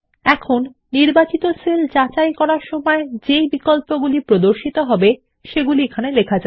এখন নির্বাচিত সেল যাচাই অপশন এ যা প্রদর্শিত হবে প্রবেশ করা যাক